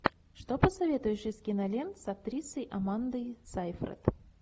что посоветуешь из кинолент с актрисой амандой сейфрид